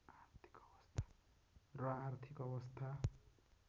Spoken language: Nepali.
र आर्थिक अवस्था